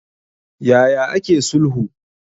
Ya ya ake sulhu?